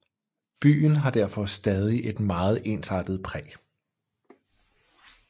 Byen har derfor stadig et meget ensartet præg